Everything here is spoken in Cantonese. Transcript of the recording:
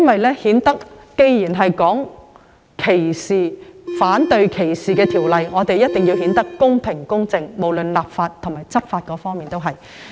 我認為既然是反對歧視法例，便一定要公平、公正，不論是立法或執法亦然。